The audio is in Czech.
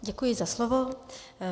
Děkuji za slovo.